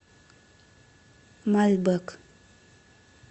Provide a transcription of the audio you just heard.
мальбэк